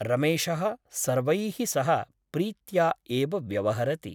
रमेशः सर्वैः सह प्रीत्या एव व्यवहरति ।